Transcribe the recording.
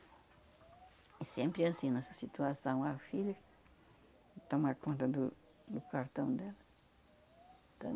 E sempre assim, nessa situação, a filha que toma conta do do cartão dela.